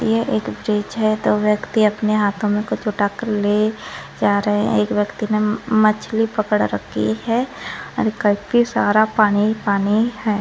ये एक ब्रिज है दो व्यक्ति अपने हाथो में कुछ उठा कर ले जा रहे है एक व्यक्ति ने मछली पकड़ रखी है काफी सारा पानी पानी है।